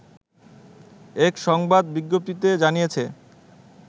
এক সংবাদ বিজ্ঞপ্তিতে জানিয়েছে